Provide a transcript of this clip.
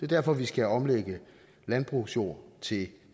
derfor at vi skal omlægge landbrugsjord til